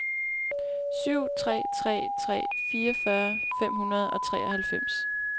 syv tre tre tre fireogfyrre fem hundrede og treoghalvfems